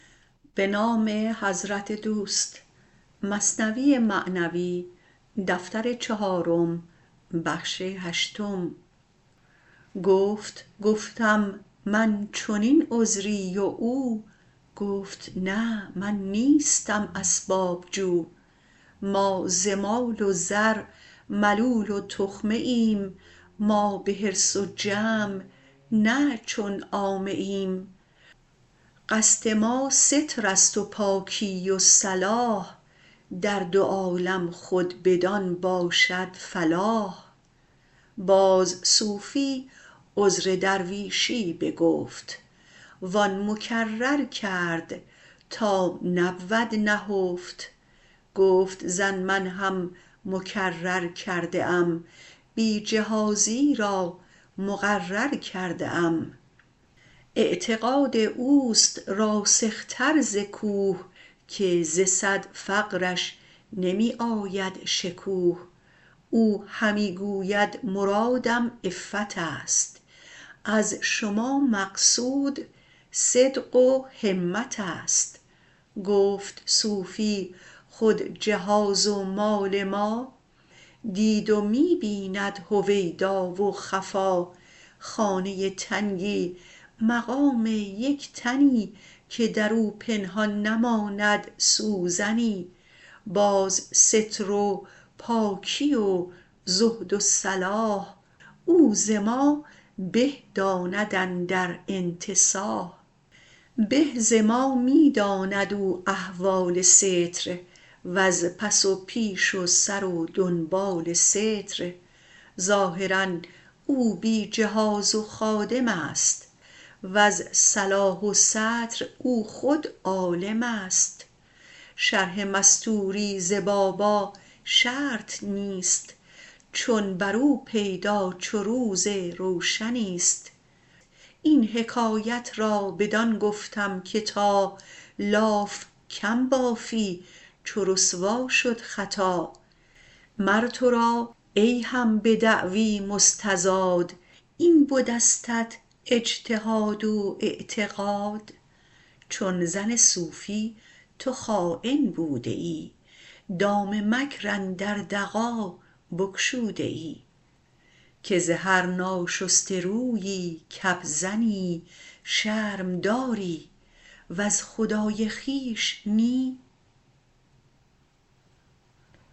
گفت گفتم من چنین عذری و او گفت نه من نیستم اسباب جو ما ز مال و زر ملول و تخمه ایم ما به حرص و جمع نه چون عامه ایم قصد ما سترست و پاکی و صلاح در دو عالم خود بدان باشد فلاح باز صوفی عذر درویشی بگفت و آن مکرر کرد تا نبود نهفت گفت زن من هم مکرر کرده ام بی جهازی را مقرر کرده ام اعتقاد اوست راسختر ز کوه که ز صد فقرش نمی آید شکوه او همی گوید مرادم عفتست از شما مقصود صدق و همتست گفت صوفی خود جهاز و مال ما دید و می بیند هویدا و خفا خانه تنگی مقام یک تنی که درو پنهان نماند سوزنی باز ستر و پاکی و زهد و صلاح او ز ما به داند اندر انتصاح به ز ما می داند او احوال ستر وز پس و پیش و سر و دنبال ستر ظاهرا او بی جهاز و خادمست وز صلاح و ستر او خود عالمست شرح مستوری ز بابا شرط نیست چون برو پیدا چو روز روشنیست این حکایت را بدان گفتم که تا لاف کم بافی چو رسوا شد خطا مر ترا ای هم به دعوی مستزاد این بدستت اجتهاد و اعتقاد چون زن صوفی تو خاین بوده ای دام مکر اندر دغا بگشوده ای که ز هر ناشسته رویی کپ زنی شرم داری وز خدای خویش نی